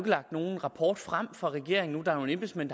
lagt nogen rapport frem fra regeringen nu der er nogle embedsmænd